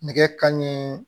Nɛgɛ kanɲɛ